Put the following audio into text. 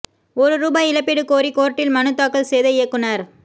ஒரு ரூபாய் இழப்பீடு கோரி கோர்ட்டில் மனு தாக்கல் செய்த இயக்குனர்